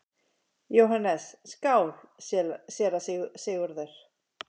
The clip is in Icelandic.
JÓHANNES: Skál, séra Sigurður!